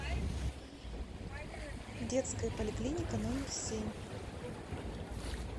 детская поликлиника номер семь